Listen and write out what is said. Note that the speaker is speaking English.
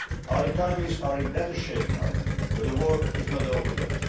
issues. Our economies are in better shape now, but the work is not